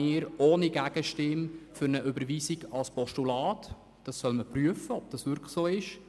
Darum sind wir einstimmig für eine Überweisung der Motion als Postulat, welches inhaltlich geprüft werden sollte.